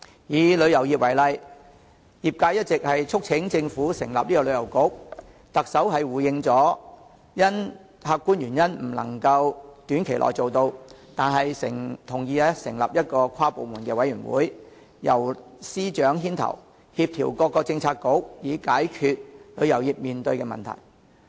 以旅遊業為例，業界一直促請政府成立旅遊局，特首回應因客觀原因未能短期內做到，但同意成立一個跨部門的委員會，由司長牽頭，協調各政策局以解決旅遊業面對的問題。